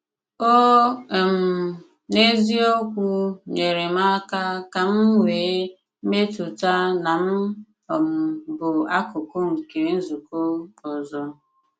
Ó um n’eziokwu nyere m aka ka m nwee mmetụta na m um bụ̀ akụkụ̀ nke nzùkọ ọzọ.